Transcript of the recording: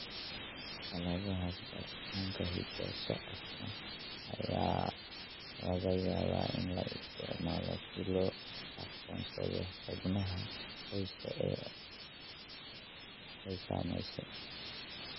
Xaaladahaas, baaritaanka hidda-socodka ayaa laga yaabaa in la isticmaalo si loo aqoonsado xubnaha qoyska ee ay saameysay.